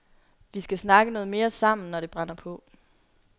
Vi skal snakke noget mere sammen, når det brænder på.